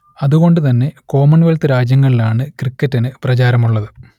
അതുകൊണ്ടുതന്നെ കോമൺവെൽത്ത് രാജ്യങ്ങളിലാണ് ക്രിക്കറ്റിനു പ്രചാരമുള്ളത്